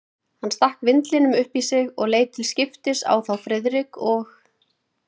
Hann stakk vindlinum upp í sig og leit til skiptis á þá Friðrik og